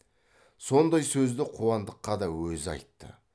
сондай сөзді қуандыққа да өзі айтты